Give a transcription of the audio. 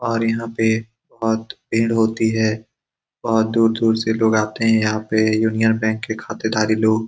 और यहाँ पे बोहोत भीड़ होती है। बोहोत दूर-दूर से लोग आते है। यहाँ पे यूनियन बैंक के खाते दारी लोग --